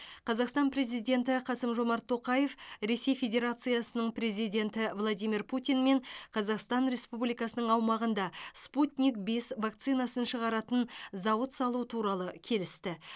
қазақстан президент қасым жомарт тоқаев ресей федерациясының президенті владимир путинмен қазақстан республикасының аумағында спутник бес вакцинасын шығаратын зауыт салу туралы келісті